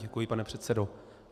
Děkuji, pane předsedo.